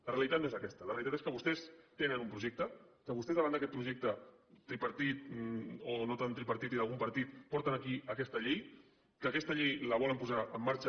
la realitat no és aquesta la realitat és que vostès tenen un projecte que vostès davant d’aquest projecte tripartit o no tan tripartit i d’algun partit porten aquí aquesta llei que aquesta llei la volen posar en marxa